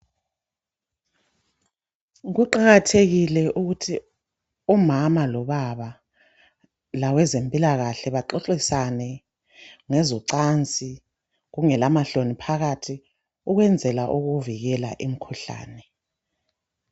Kuqakathekile ukuthi umama lobaba labezempilakahle baxoxisane ngezocansi kungela mahloni phakathi ukwenzela ukuvikela imikhuhlane.